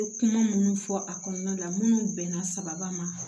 Kuma minnu fɔ a kɔnɔna la minnu bɛnna sababa ma